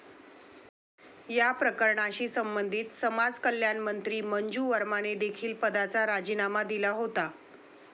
या प्रकरणाशी संबधित समाजकल्याणमंत्री मंजू वर्माने देखील पदाचा राजीनामा दिला होता.